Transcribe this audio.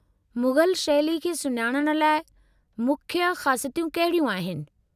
मुग़ल शैली खे सुञाणण लाइ मुख्य ख़ासियतूं कहिड़ियूं आहिनि?